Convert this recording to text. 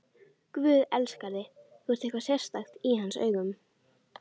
Guð elskar þig, þú ert eitthvað sérstakt í hans augum.